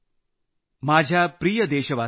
माझ्या प्रिय देशवासियांनो